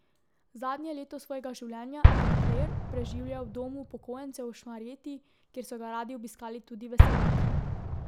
Zadnje leto svojega življenja je Flere preživljal v domu upokojencev v Šmarjeti, kjer so ga radi obiskali tudi veseljaki.